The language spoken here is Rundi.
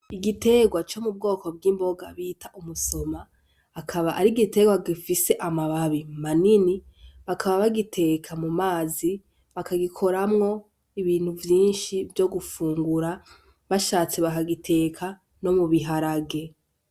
Igiterwa co mubwoko bw'imboga bita umusoma akaba ari igiterwa gifise amababi manini bakaba bagiteka mu mazi bakagikoramwo ibintu vyinshi vyogufungura bashatse bakagiteka no mubiharage.